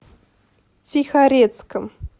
тихорецком